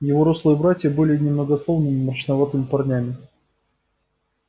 его рослые братья были немногословными мрачноватыми парнями